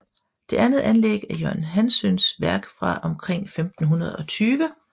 Det andet anlæg er Jørgen Hanssøns værk fra omkring 1520